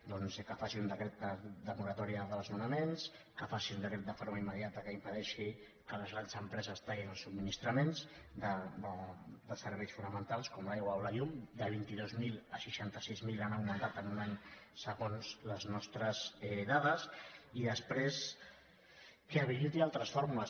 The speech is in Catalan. doncs que faci decret de moratòria de desnonaments que faci un decret de forma immediata que impedeixi que les grans empreses tallin els subministraments de serveis fonamentals com l’aigua o la llum de vint dos mil a seixanta sis mil han augmentat en un any segons les nostres dades i després que habiliti altres fórmules